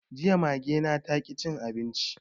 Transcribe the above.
Jiya Mage na taƙi cin abinci